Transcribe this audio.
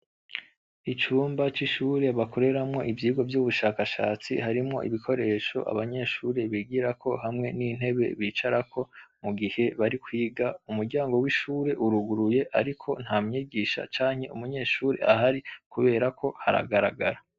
Icumba c'ishure bakoreramwo ivyigwa vy'ubushakashatsi harimwo ibikoresho abanyeshuri bigirako hamwe n'intebe bicarako mu gihe bari kwiga. Umuryango w'ishure uruguruye ariko nta mwigisha canke umunyeshure ahari kubera ko haragaragara.